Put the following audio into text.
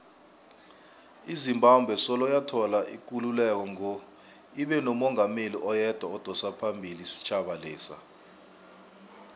izimbabwe soloyathola ikululeko ngo ibenomungameli oyedwa odosaphambili isitjhaba lesa